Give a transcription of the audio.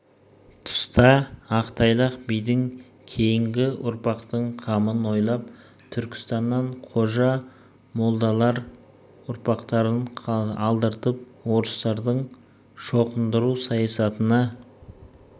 тұста ақтайлақ бидің кейінгі ұрпақтың қамын ойлап түркістаннан қожа молдалар ұрпақтарын алдыртып орыстардың шоқындыру саясатына